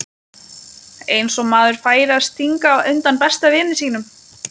Eins og maður færi að stinga undan besta vini sínum!